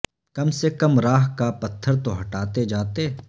کم سے کم راہ کا پتھر تو ہٹاتے جاتے